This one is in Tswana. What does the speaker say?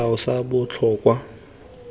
molao sa botlhokwa o tla